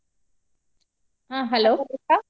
ಹ್ಮ್ hello .